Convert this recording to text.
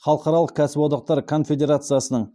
халықаралық кәсіподақтар конфедерациясының